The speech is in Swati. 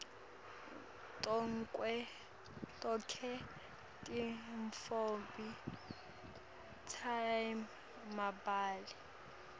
tonkhe tintfombi time mabele